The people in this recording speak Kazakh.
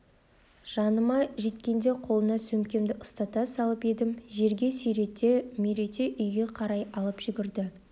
жаныма жеткенде қолына сөмкемді ұстата салып едім жерге сүйрете-мүйрете үйге қарай ала жүгірді